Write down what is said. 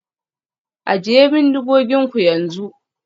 Ajiye bindigoginku yanzu